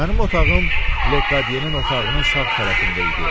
Mənim otağım Lekodyenin otağının sağ tərəfində idi.